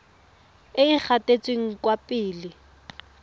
e e gatetseng kwa pele